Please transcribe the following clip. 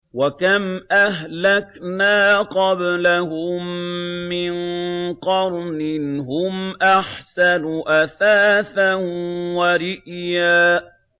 وَكَمْ أَهْلَكْنَا قَبْلَهُم مِّن قَرْنٍ هُمْ أَحْسَنُ أَثَاثًا وَرِئْيًا